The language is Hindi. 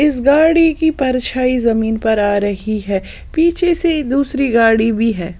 इस गाड़ी की परछाई जमीन पर आ रही है पीछे से दूसरी गाड़ी भी है।